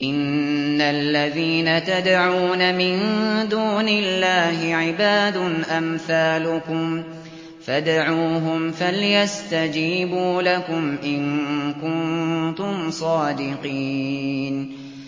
إِنَّ الَّذِينَ تَدْعُونَ مِن دُونِ اللَّهِ عِبَادٌ أَمْثَالُكُمْ ۖ فَادْعُوهُمْ فَلْيَسْتَجِيبُوا لَكُمْ إِن كُنتُمْ صَادِقِينَ